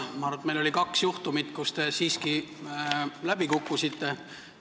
Ma arvan, et oli kaks juhtumit, kui te siiski läbi kukkusite.